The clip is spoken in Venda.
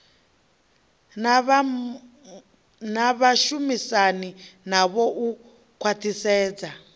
na vhashumisani navho u khwathisedza